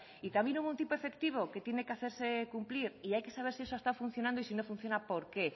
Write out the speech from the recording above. y también hubo un tipo efectivo que tiene que hacerse cumplir y hay que saber si eso está funcionando y si no funciona por qué